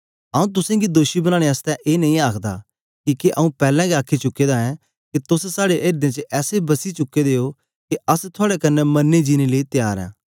आंऊँ तुसेंगी दोषी बनानें आसतै ए नेई आखदा किके आंऊँ पैलैं गै आखी चुके दा ऐं के तोस साड़े एर्दें च ऐसे बसी चुके दे ओ के अस थुआड़े कन्ने मरने जीनें लेई त्यार ओ